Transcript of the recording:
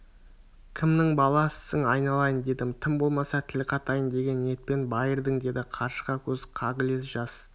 кімнің баласысың айналайын дедім тым болмаса тіл қатайын деген ниетпен байырдың деді қаршыға көз қағылез жас